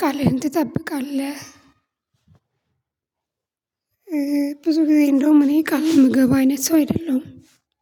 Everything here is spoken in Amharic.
ቃልህን ትጠብቃለህ። ብዙ ጊዜ እንደውም እኔ ቃል የምገባ አይነት ሰው አይደለሁም።